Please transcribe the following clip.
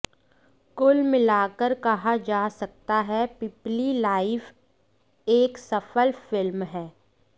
कुल मिला कर कहा जा सकता है पीपली लाइव एक सफल फिल्म हैं